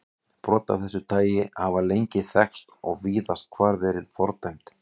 Brot af þessu tagi hafa lengi þekkst og víðast hvar verið fordæmd.